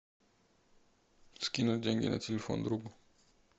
скинуть деньги на телефон другу